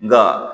Nga